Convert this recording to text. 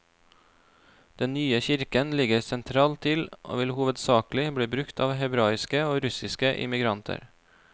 Den nye kirken ligger sentralt til og vil hovedsakelig bli brukt av hebraiske og russiske immigranter.